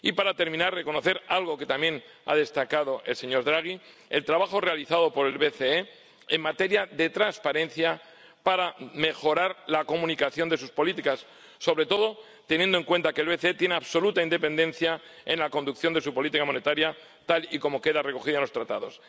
y para terminar, deseo reconocer algo que también ha destacado el señor Draghi el trabajo realizado por el BCE en materia de transparencia para mejorar la comunicación de sus políticas, sobre todo teniendo en cuenta que el BCE tiene absoluta independencia en la conducción de su política monetaria, tal y como queda recogido en los Tratados.